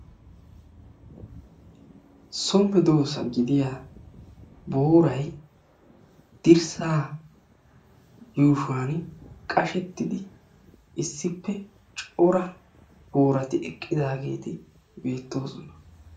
So meedoossa gidiya booray dirssaa yuushuwan qashettiddi issippe cora boorati eqqidaageeti beettoosona.